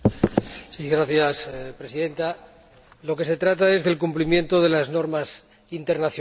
Señora Presidenta, de lo que se trata es del cumplimiento de las normas internacionales.